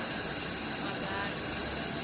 mabala